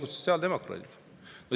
Ja sotsiaaldemokraadid.